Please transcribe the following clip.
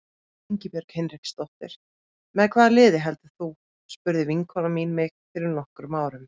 Ingibjörg Hinriksdóttir Með hvaða liði heldur þú? spurði vinkona mín mig fyrir nokkrum árum.